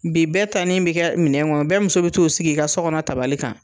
Bi bɛɛ tani bi kɛ minɛn kɔnɔ bɛɛ muso bi t'o sigi ka sɔ kɔnɔ tabali kan